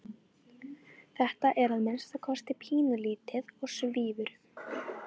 Þetta er að minnsta kosti pínulítið og svífur um.